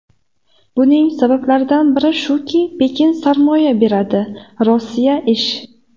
Buning sabablaridan biri shuki, Pekin sarmoya beradi, Rossiya ish.